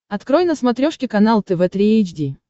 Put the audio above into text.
открой на смотрешке канал тв три эйч ди